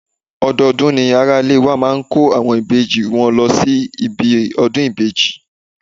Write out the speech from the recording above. Odọọdún ni ara ilé wa máa ń kó àwọn ìbejì wọn lọ síbi ọdún ìbejì.